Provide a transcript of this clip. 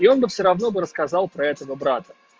и он бы всё равно бы рассказал про этого брата